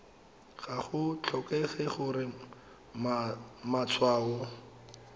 ga go tlhokege gore matshwao